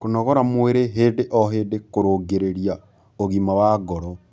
kũnogora mwĩrĩ hĩndĩ o hĩndĩ kurungirirĩa ũgima wa ngoro